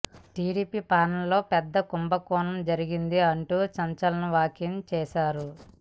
TDP పాలన లో పెద్ద కుంభకోణం జరిగింది అంటూ సంచలన వ్యాఖ్యలు చేశారు